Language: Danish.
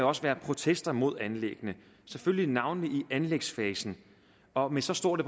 også være protester mod anlæggene selvfølgelig navnlig i anlægsfasen og med så stort